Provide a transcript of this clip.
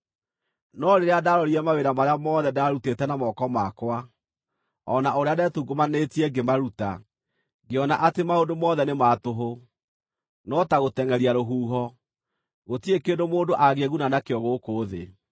No rĩrĩa ndaarorire mawĩra marĩa mothe ndaarutĩte na moko makwa, o na ũrĩa ndetungumanĩtie ngĩmaruta, ngĩona atĩ maũndũ mothe nĩ ma tũhũ, no ta gũtengʼeria rũhuho; gũtirĩ kĩndũ mũndũ angĩĩguna nakĩo gũkũ thĩ.